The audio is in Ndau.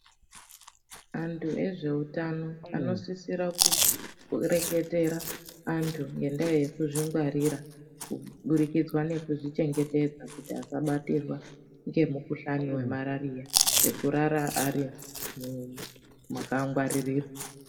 Antu ezveutano anosisira kureketera antu ngendaa yekuzvingwarira kuburikidzwa nekuzvichengetedza kuti asabatirwa ngemukhuhlani wemarariya ,nekurara ari mumakangwaririrwa.